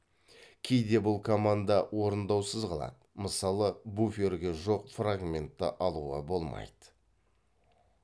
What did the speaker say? кейде бұл команда орындаусыз қалады мысалы буферге жоқ фрагментті алуға болмайды